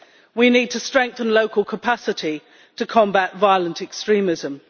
We need to strengthen local capacity to combat violent extremism.